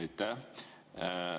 Aitäh!